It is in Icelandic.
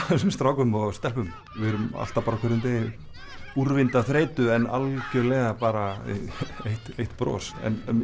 þessum strákum og stelpum við erum alltaf bara á hverjum degi úrvinda af þreytu en algjörlega bara eitt bros